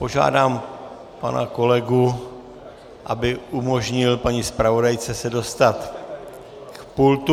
Požádám pana kolegu, aby umožnil paní zpravodajce se dostat k pultu.